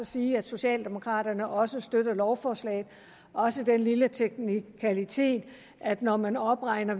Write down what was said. sige at socialdemokraterne også støtter lovforslaget også den lille teknikalitet at når man opregner